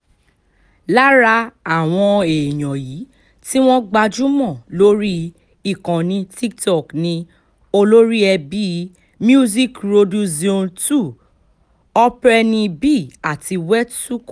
lára àwọn èèyàn yìí tí wọ́n gbajúmọ̀ lórí ìkànnì tiktok ni olóríẹbí musicroduzione two operny bee àti wetsuko